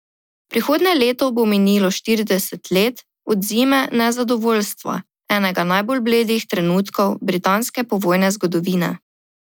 Prihodnje leto bo minilo štirideset let od zime nezadovoljstva, enega najbolj bledih trenutkov britanske povojne zgodovine.